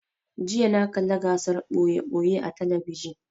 jiya na kalla gasar ɓoye-ɓoye a talabijin